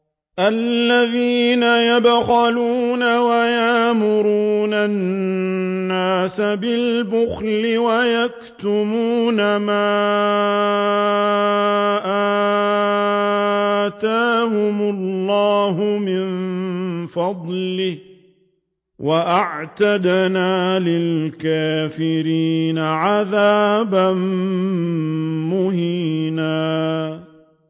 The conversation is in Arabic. الَّذِينَ يَبْخَلُونَ وَيَأْمُرُونَ النَّاسَ بِالْبُخْلِ وَيَكْتُمُونَ مَا آتَاهُمُ اللَّهُ مِن فَضْلِهِ ۗ وَأَعْتَدْنَا لِلْكَافِرِينَ عَذَابًا مُّهِينًا